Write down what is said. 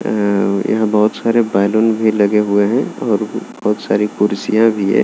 अ यहाँ बहुत सारे बलून भी लगे हुए है और बहुत सारी खुर्सिया भी है।